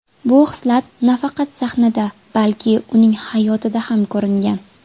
Bu hislat nafaqat sahnada, balki uning hayotida ham ko‘ringan.